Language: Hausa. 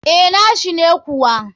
Eh, nashi ne kuwa.